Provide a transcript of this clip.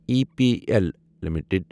E P L limited